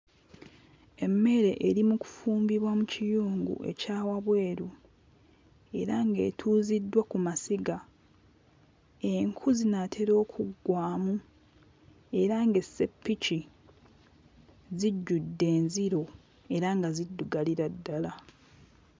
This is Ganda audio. Emmere eri mu kufumbibwa mu kiyungu ekya wabweru era ng'etuuziddwa ku masiga. Enku zinaatera okuggwaamu era ng'esseppiki zijjudde enziro era nga ziddugalira ddala.